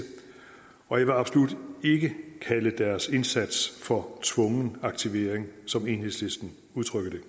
og jeg vil absolut ikke kalde deres indsats for tvungen aktivering som enhedslisten udtrykker det